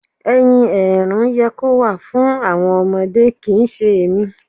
ẹyin èérún yẹ kó wà fún àwọn ọmọdé kì ń ṣe èmi.